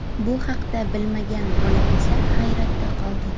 Bu haqda bilmagan bola esa hayratda qoldi.